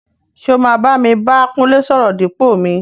ṣé o máa bámi bá Kúnlé sọ̀rọ̀ dípò mi?